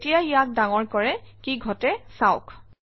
যেতিয়া ইয়াক ডাঙৰ কৰে কি ঘটে চাওক